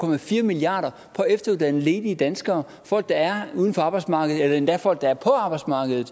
milliard kroner på at efteruddanne ledige danskere folk der er uden for arbejdsmarkedet eller endda folk der er på arbejdsmarkedet